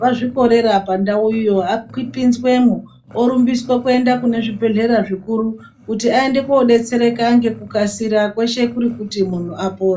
vazvikorera pandau iyo apinzwemwo orumbiswe kuenda kune zvibhedhlera zvikuru kuti aende kodetsereka ngekukasira kweshe kuri kuti munhu apore.